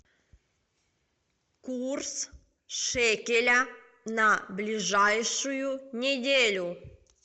курс шекеля на ближайшую неделю